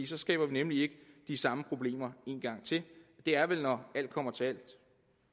så skaber vi nemlig ikke de samme problemer en gang til det er vel når alt kommer til alt